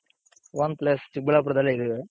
own place ಚಿಕ್ಕಬಳ್ಳಾಪುರದಲ್ಲೇ ಇದ್ದೀವಿ.